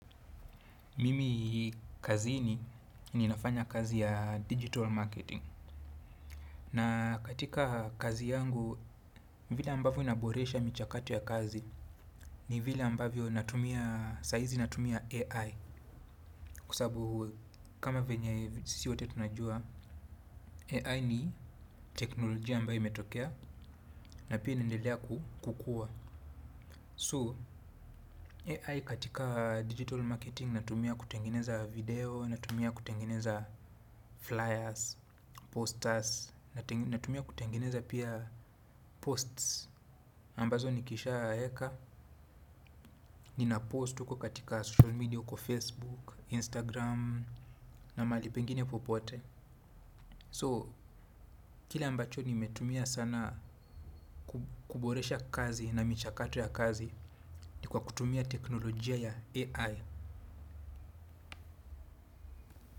Mimi kazini ninafanya kazi ya digital marketing. Na katika kazi yangu, vile ambavyo naboresha michakato ya kazi ni vile ambavyo natumia saizi natumia AI. Kwa sababu kama vyenye sisi wote tunajua AI ni teknolojia ambayo imetokea. Na pia inaendelea kukua So, AI katika digital marketing natumia kutengeneza video. Natumia kutengeneza flyers, posters. Natumia kutengeneza pia posts ambazo nikisha Eka Ninapost uko katika social media uko Facebook, Instagram na mahali pengine popote So, kile ambacho nimetumia sana kuboresha kazi na michakato ya kazi ni kwa kutumia teknolojia ya AI.